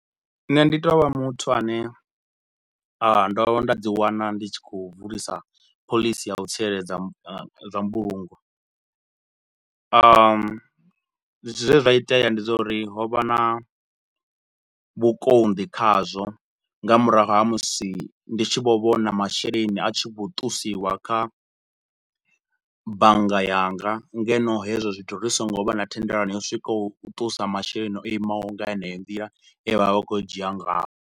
Nṋe ndi tou vha muthu ane a ndo vhuya nda ḓi wana ndi tshi khou bvulisa phoḽisi ya u tsireledza zwa mbulungo zwe zwa itea ndi zwa uri ho vha na vhukonḓi khazwo nga murahu ha musi ndi tshi vho vhona masheleni a tshi khou ṱusiwa kha bannga yanga ngeno hezwo zwithu ri so ngo vha na thendelano yo swikaho u ṱusa masheleni o imaho nga yeneyo nḓila e vha vha vha khou a dzhia ngaho.